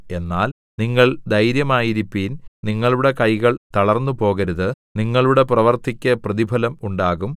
എന്നാൽ നിങ്ങൾ ധൈര്യമായിരിപ്പിൻ നിങ്ങളുടെ കൈകൾ തളർന്നുപോകരുത് നിങ്ങളുടെ പ്രവൃത്തിക്ക് പ്രതിഫലം ഉണ്ടാകും